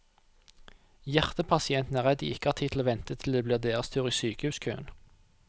Hjertepasientene er redd de ikke har tid til å vente til det blir deres tur i sykehuskøen.